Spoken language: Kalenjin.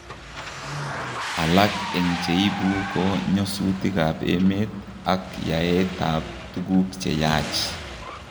Alak eng' cheibu ko nyosutik ab emet ak yaeet ab tuguk cheyaach